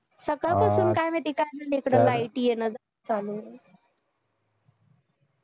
सकाळीपासूनकाय माहिती काय झाला इकडं light येणं जाणं चालू हाय